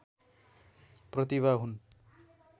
प्रतिभा हुन्